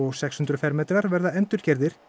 sex hundruð fermetrar verða endurgerðir